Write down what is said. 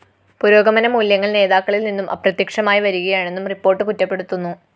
പുരോഗമന മൂല്യങ്ങള്‍ നേതാക്കളില്‍ നിന്നും അപ്രത്യക്ഷമായി വരികയാണെന്നും റിപ്പോർട്ട്‌ കുറ്റപ്പെടുത്തുന്നു